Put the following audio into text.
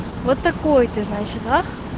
вот такой ты значит да